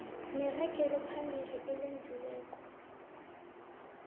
neragelo phambili elenziweko